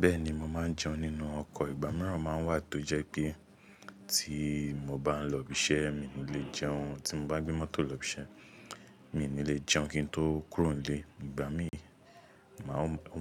Bẹ́ẹ̀ni, mo máa ń jẹun nínú ọkọ̀. Ìgbà mìíràn máa ń wà tó jẹ́ pé tí mo bá ń lọ ibi iṣẹ́ mi ò ní lè jẹun. Tí mo bá gbé mọ́tò lọ ibi iṣẹ́ mi ò ní lè jẹun kí n tó kúrò nílé. Ìgbà mí,